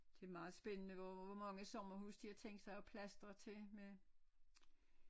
Det er meget spændende hvor hvor mange sommerhuse de har tænkt sig at plastre til med